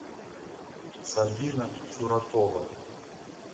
сабина чуракова